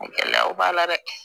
Gɛlɛyaw b'a la dɛ